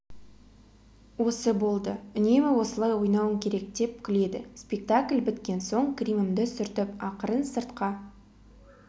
осы болды үнемі осылай ойнауың керек деп күледі спектакль біткен соң гримімді сүртіп ақырын сыртқа